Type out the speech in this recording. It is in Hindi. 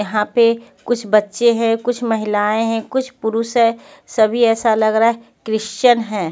यहां पे कुछ बच्चे हैं कुछ महिलाएं हैं कुछ पुरुष है सभी ऐसा लग रहा है क्रिश्चियन है.